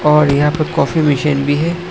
और यहां पर कॉफी मशीन भी है।